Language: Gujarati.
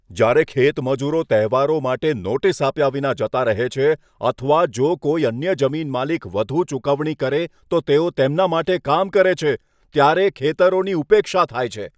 જ્યારે ખેતમજૂરો તહેવારો માટે નોટિસ આપ્યા વિના જતા રહે છે, અથવા જો કોઈ અન્ય જમીનમાલિક વધુ ચુકવણી કરે તો તેઓ તેમના માટે કામ કરે છે, ત્યારે ખેતરોની ઉપેક્ષા થાય છે.